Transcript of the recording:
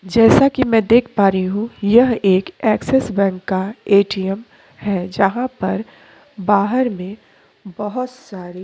जैसा कि मैं देख पा रही हूँ यह एक एक्सिस बैंक का एटीएम है जहां पर बाहर में बहोत सारे--